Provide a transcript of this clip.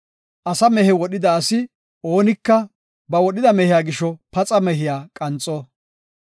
Asa mehe wodhida asi oonika ba wodhida mehiya gisho paxa mehiya qanxo.